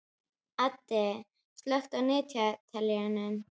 Addi, slökktu á niðurteljaranum.